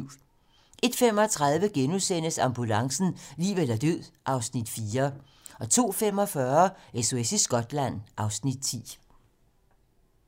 01:35: Ambulancen - liv eller død (Afs. 4)* 02:45: SOS i Skotland (Afs. 10)